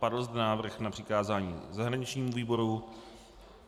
Padl zde návrh na přikázání zahraničnímu výboru.